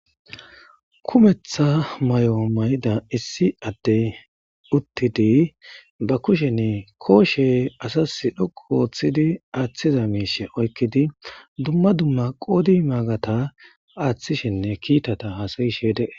Hayissani issi adeyi utiddi ba kusheni koshe assasi dhoqu othidi athida misheza oyikidi duma duma odata qofa athishe desi